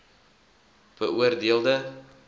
beoor deel de